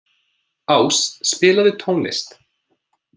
Ás, spilaðu tónlist.